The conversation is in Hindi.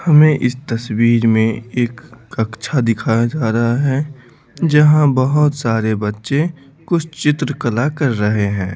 हमें इस तस्वीर में एक कक्षा दिखाया जा रहा है जहां बहुत सारे बच्चे कुछ चित्र कला कर रहे हैं।